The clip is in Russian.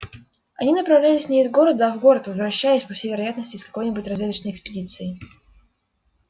они направлялись не из города а в город возвращаясь по всей вероятности из какой нибудь разведочной экспедиции